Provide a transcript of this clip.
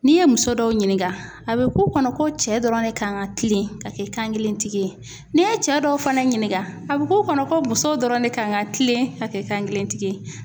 N'i ye muso dɔw ɲininka, a bɛ k'u kɔnɔ ko cɛ dɔrɔn de kan ka kilen ka kɛ kan kelen tigi ye, n'i ye cɛ dɔw fana ɲininka a bɛ k'u kɔnɔ ko musow dɔrɔn de kan ka kilen ka kɛ kan kelentigi ye.